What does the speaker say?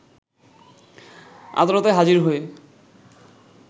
আদালতে হাজির হয়ে